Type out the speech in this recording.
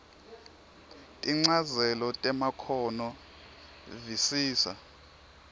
tinchazelo temakhono visisa